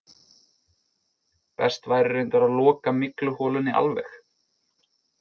Best væri reyndar að loka mygluholunni alveg.